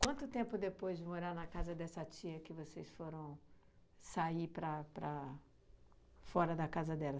Quanto tempo depois de morar na casa dessa tia que vocês foram sair para para fora da casa dela?